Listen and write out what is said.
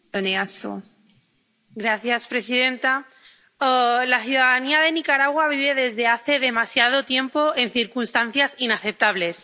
Señora presidenta, la ciudadanía de Nicaragua vive desde hace demasiado tiempo en circunstancias inaceptables.